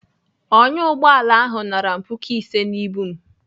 Ọnyá ụgbọala ahụ nara m puku ise n'ibu m.